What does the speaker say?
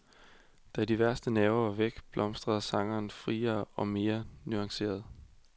Da de værste nerver var væk, blomstrede sangeren friere og mere nuanceret.